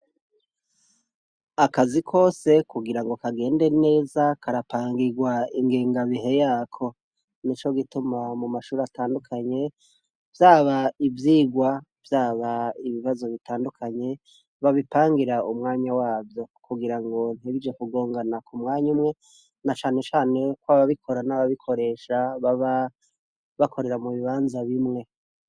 Akazi kose kugirango kagende neza karapangirwa ingingabihe Yako nico gituma, mumashure atandukanye, vyaba ivyigwa, vyaba ibibazo bitandukanye babipangira umwanya wavyo, kugirango ntibize kugongana mumwanya umwe, nacane cane ko ababikora nababikoresha baba bakorera mubibanza bimwe.